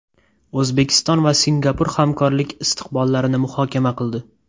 O‘zbekiston va Singapur hamkorlik istiqbollarini muhokama qildi.